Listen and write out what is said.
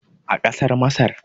a kasar masar